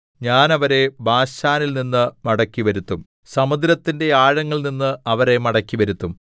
ഞാൻ അവരെ ബാശാനിൽനിന്ന് മടക്കിവരുത്തും സമുദ്രത്തിന്റെ ആഴങ്ങളിൽനിന്ന് അവരെ മടക്കിവരുത്തും